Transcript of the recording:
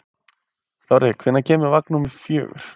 Þorri, hvenær kemur vagn númer fjögur?